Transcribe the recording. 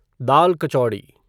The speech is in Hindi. दाल कचौड़ी